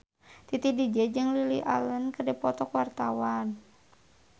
Titi DJ jeung Lily Allen keur dipoto ku wartawan